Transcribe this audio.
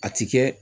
A ti kɛ